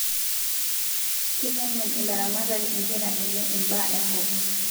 Keitengen ilaramatak inkera enye ibaa enkop